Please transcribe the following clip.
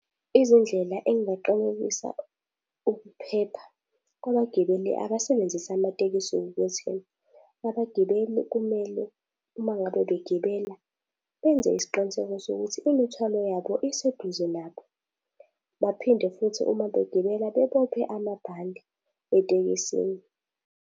Izindlela engingaqalekisa ukuphepha kwabagibeli abasebenzisa amatekisi ukuthi, abagibeli kumele uma ngabe begibela benze isiqiniseko sokuthi imithwalo yabo iseduze nabo. Baphinde futhi uma begibela bebophe amabhande etekisini.